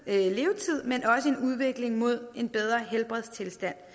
men også en udvikling mod en bedre helbredstilstand